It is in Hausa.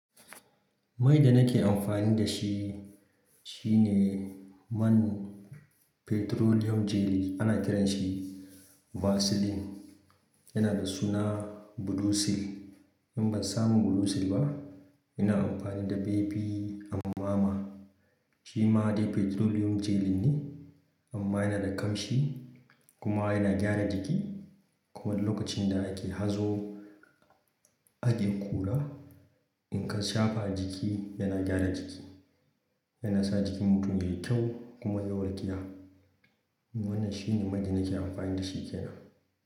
Mai da nake amfani da shi shine man petroleum jelly ana kiranshi Vaseline yana da suna Blue Seal. In ban samu Blue Seal ba ina amfani da Baby Amama shi ma dai petroleum jelly ne amma yana da kamshi kuma yana gyara jiki. Kuma lokacin da ake hazo a ajiye kula in ka shafa jiki yana gyara jiki yana sa jikin mutum yayi kyau kuma yawar giya. Wannan shine mai da nake amfani da shi kenan.